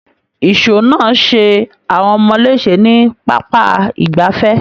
Ìṣọ́ náà ṣe àwọn ọmọ léṣe ní pápá ìgbafẹ́.